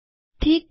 ઠીક છે